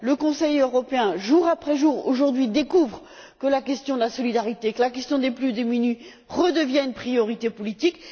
Le Conseil européen, jour après jour découvre que la question de la solidarité et la question des plus démunis redeviennent une priorité politique.